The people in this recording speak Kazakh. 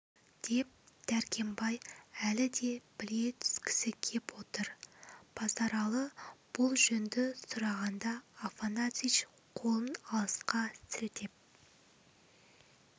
деп дәркембай әлі де біле түскісі кеп отыр базаралы бұл жөнді сұрағанда афанасьич қолын алысқа сілтеп